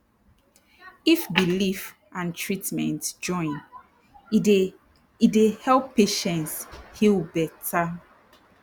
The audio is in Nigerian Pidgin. if belief and treatment join e dey e dey help patients heal better